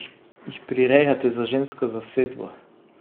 Jih prirejate za žensko zasedbo?